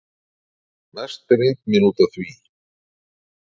Mest er eymd mín út af því